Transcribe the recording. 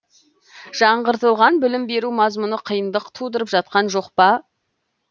жаңартылған білім беру мазмұны қиындық тудырып жатқан жоқ па